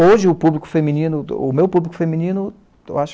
Hoje, o público feminino, o meu público feminino eu acho